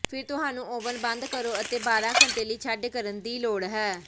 ਫਿਰ ਤੁਹਾਨੂੰ ਓਵਨ ਬੰਦ ਕਰੋ ਅਤੇ ਬਾਰ੍ਹਾ ਘੰਟੇ ਲਈ ਛੱਡ ਕਰਨ ਦੀ ਲੋੜ ਹੈ